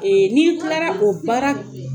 ni kilala o baara